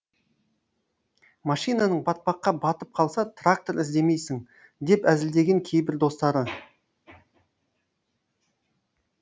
машинаң батпаққа батып қалса трактор іздемейсің деп әзілдеген кейбір достары